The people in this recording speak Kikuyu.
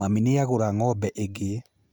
Mami nĩagũra ng'ombe ĩngĩ